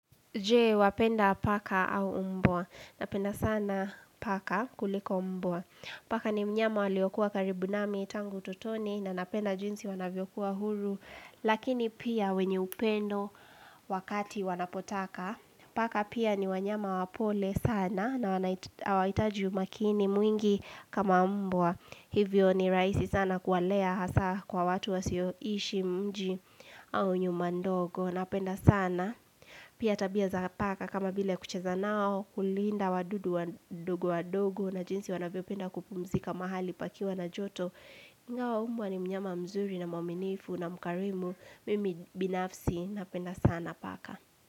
Je, wapenda paka au umbwa. Napenda sana paka kuliko umboa. Paka ni mnyama waliokuwa karibu nami tangu utotoni na napenda jinsi wanavyokuwa huru. Lakini pia wenye upendo wakati wanapotaka. Paka pia ni wanyama wapole sana na waitaj hawahitaji umakini mwingi kama umbwa. Hivyo ni rahisi sana kuwalea hasa kwa watu wasio ishi mji au nyuma ndogo. Napenda sana. Pia tabia za paka kama bila kucheza nao kulinda wadudu wadogo wadogo na jinsi wanavyopenda kupumzika mahali pakiwa na joto. Ingawa umbwa ni mnyama mzuri na mwaminifu na mkarimu. Mimi binafsi. Napenda sana paka.